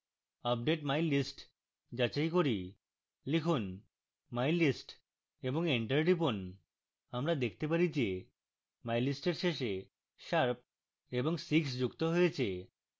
update mylist যাচাই করি লিখুন mylist এবং enter টিপুন আমরা দেখতে পারি যে mylist we শেষে sharp এবং six যুক্ত হয়েছে